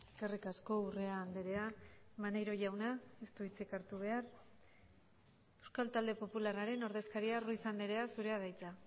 eskerrik asko urrea andrea maneiro jauna ez du hitzik hartu behar euskal talde popularraren ordezkaria ruiz andrea zurea da hitza